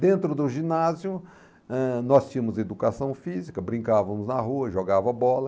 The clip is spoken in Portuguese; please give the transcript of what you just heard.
Dentro do ginásio, eh nós tínhamos educação física, brincavamos na rua, jogava bola.